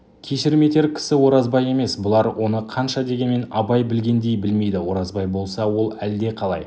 кешірім етер кісі оразбай емес бұлар оны қанша дегенмен абай білгендей білмейді оразбай болса ол әлдеқалай